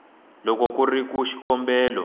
loko ku ri ku xikombelo